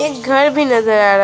एक घर भी नजर आ रहा--